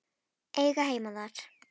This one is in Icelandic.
Eiga heima þar.